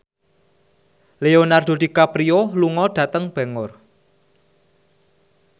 Leonardo DiCaprio lunga dhateng Bangor